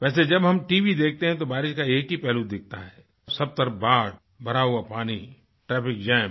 वैसे जब हम टीवी देखते हैं तो बारिश का एक ही पहलू दिखता है सब तरफ बाढ़ भरा हुआ पानी ट्रैफिक जाम